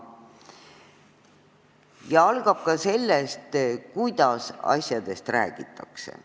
See algab ka sellest, kuidas asjadest räägitakse.